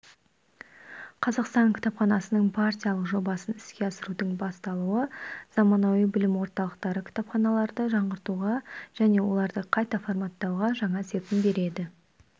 қазақстан кітапханасының партиялық жобасын іске асырудың басталуы заманауи білім орталықтары кітапханаларды жаңғыртуға және оларды қайта форматтауға жаңа серпін береді